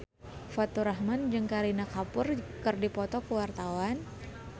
Faturrahman jeung Kareena Kapoor keur dipoto ku wartawan